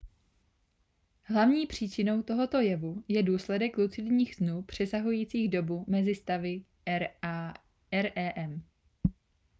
hlavní příčinou tohoto jevu je důsledek lucidních snů přesahujících dobu mezi stavy rem